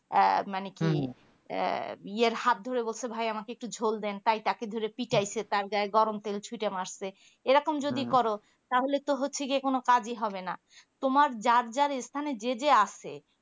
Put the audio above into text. আহ মানে কি আহ এর হাতধরে বসে ভাই আমাকে একটু ঝোল দেন তাই তাকে ধরে পিটাইছে তার গায়ে গরম তেল ছুতে মারছে এইরকম যদি করো তাহলে কি হচ্ছে গিয়ে কোনো কাজী হবে না তোমার যার যার স্থানে যে যে আসে